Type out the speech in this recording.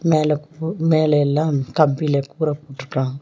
மேல மேல எல்லாம் கம்பில கூரை போட்ருக்கான்.